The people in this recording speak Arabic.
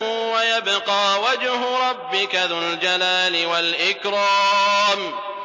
وَيَبْقَىٰ وَجْهُ رَبِّكَ ذُو الْجَلَالِ وَالْإِكْرَامِ